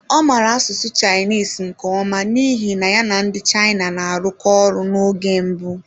Ọ maara asụsụ Chinese nke ọma n'ihi na ya na ndị China na-arụkọ ọrụ n'oge mbụ.